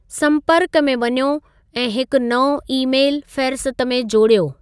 संपर्क में वञो ऐं हिकु नओं ईमेलु फ़ेहरिस्त में जोड़ियो।